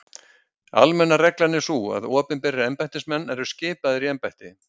Almenna reglan er sú að opinberir embættismenn eru skipaðir í embætti.